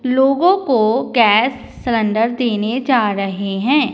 लोगों को gas cylinder देने जा रहे हैं।